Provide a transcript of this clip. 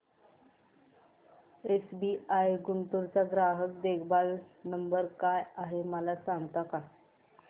SBI Guntur चा ग्राहक देखभाल नंबर काय आहे मला सांगता का